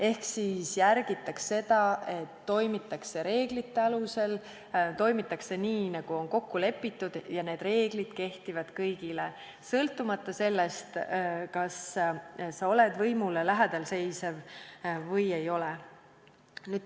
Ehk tuleb järgida seda, et toimitakse reeglite alusel, toimitakse nii, nagu on kokku lepitud, ja need reeglid kehtivad kõigile, sõltumata sellest, kas sa oled võimule lähedal või ei ole.